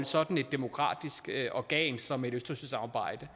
sådan et demokratisk organ som et østersøsamarbejde